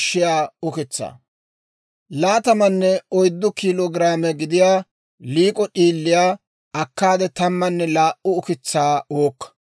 «Laatamanne oyddu kiilo giraame gidiyaa liik'o d'iiliyaa akkaade tammanne laa"u ukitsaa uukka.